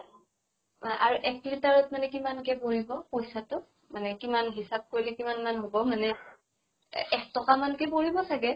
আৰু এক litre ত মানে কিমান কে পৰে ক পইচা টো? মানে কিমান হিচাপ কৰিলে কিমান মান হব এনে? এহ এক টকা মান কে পৰিব চাগে?